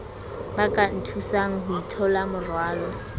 ba ka nthusang ho itholamorwalo